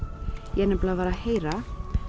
ég var að heyra